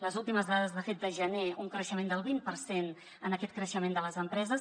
les últimes dades de fet de gener un creixement del vint per cent en aquest creixement de les empreses